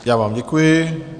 Já vám děkuji.